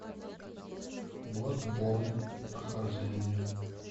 бладборн прохождение